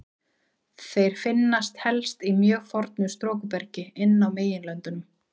Þeir finnast helst í mjög fornu storkubergi inn á meginlöndum.